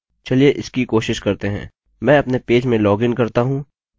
मैं अपने पेज में लॉगिन करता हूँ और अपनी intro to avi फाइल उठाता हूँ